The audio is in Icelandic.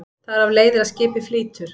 Þar af leiðir að skipið flýtur.